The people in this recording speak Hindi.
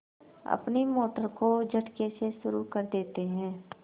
अपनी मोटर को झटके से शुरू करते हैं